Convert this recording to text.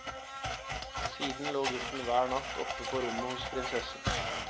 Siden lå gutten hver natt oppe på rommet hos prinsessen.